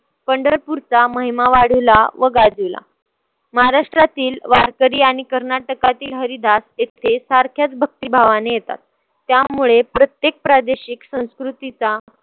पंढरपूरचा महिमा वाढीवला व गाजीवला. महाराष्ट्रातील वारकरी आणि कर्नाटकातील हरीदास येथे सारख्याच भक्तीभावाने येतात. त्यामुळे प्रत्येक प्रादेशिक, संस्कृतीचा